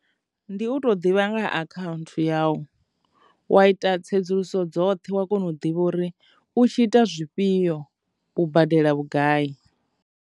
Ndi u to ḓivha nga ha akhaunthu ya u wa ita tsedzuluso dzoṱhe wa kona u ḓivha uri u tshi ita zwifhio u badela vhugai.